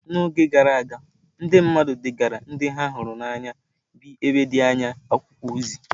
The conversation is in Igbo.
N’oge gara aga, ndị mmadụ degaara ndị ha hụrụ n’anya bi n’ebe dị anya akwụkwọ ozi.